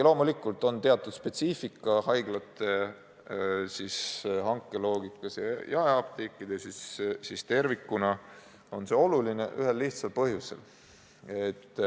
Loomulikult on teatud spetsiifika nii haiglate hankeloogikas kui ka jaeapteekide omas, aga tervikuna on see oluline ühel lihtsal põhjusel.